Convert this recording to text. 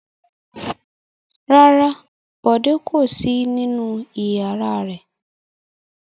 Rárá, Bọ̀dé kò sí nínú ìyàrá rẹ̀.